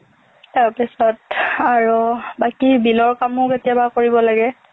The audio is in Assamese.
তাৰপিছত আৰু বাকী bill ৰ কামো কেতিয়াবা কৰিব লাগে